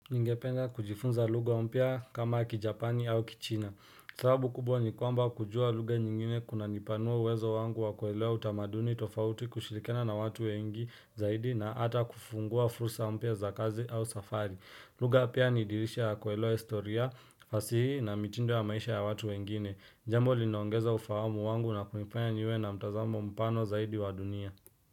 Ningependa kujifunza lugha mpya kama kijapani au kichina. Sababu kubwa ni kwamba kujua lugha nyingine kuna nipanua uwezo wangu wa kuelewa utamaduni tofauti kushirikiana na watu wengi zaidi na ata kufungua fursa mpya za kazi au safari. Lugha pia ni dirisha ya kuelewa historia, fasihi na mitindo ya maisha ya watu wengine. Jambo linaongeza ufahamu wangu na kunifanya niwe na mtazamo mpano zaidi wa dunia.